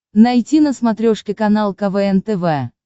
найти на смотрешке канал квн тв